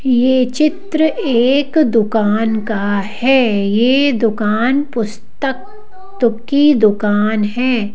यह चित्र एक दुकान का है यह दुकान पुस्तक की दुकान है।